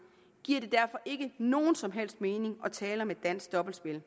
giver det derfor ikke nogen som helst mening at tale om et dansk dobbeltspil